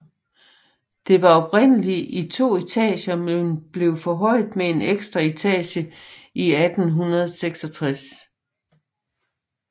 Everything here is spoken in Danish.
Det var oprindeligt i to etager men blev forhøjet med en ekstra etage i 1866